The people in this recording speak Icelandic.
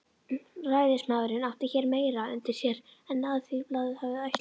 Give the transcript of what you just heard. Ræðismaðurinn átti hér meira undir sér en Alþýðublaðið hafði ætlað.